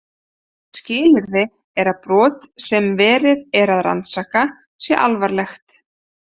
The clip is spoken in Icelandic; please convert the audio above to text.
Skilyrði er að brot sem verið er að rannsaka sé alvarlegt.